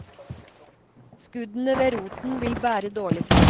Skuddene ved roten vil bære dårlig frukt.